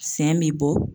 Sɛ bɛ bɔ